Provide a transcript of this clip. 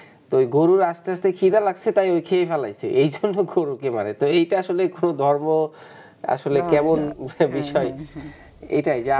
তো ওই গরুর আসতে আসতে খিদা লাগছে তাই খেয়ে ফেলাইছে এজন্য গরুকে মারে তো এইটা আসলে খুব ধর্ম আসলে কেমন একটা বিষয়, এটাই যা,